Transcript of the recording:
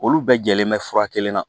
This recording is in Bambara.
Olu bɛɛ jɛlen bɛ fura kelen na